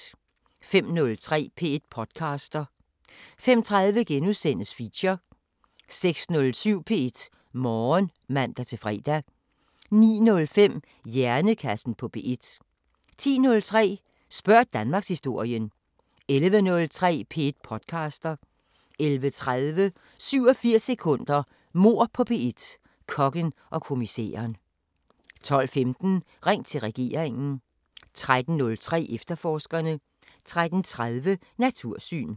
05:03: P1 podcaster 05:30: Feature * 06:07: P1 Morgen (man-fre) 09:05: Hjernekassen på P1 10:03: Spørg Danmarkshistorien 11:03: P1 podcaster 11:30: 87 sekunder – Mord på P1: Kokken og kommissæren 12:15: Ring til regeringen 13:03: Efterforskerne 13:30: Natursyn